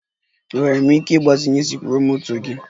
Enwere m ike ịgbazinye sikruokwomoto gị?